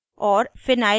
* histidine और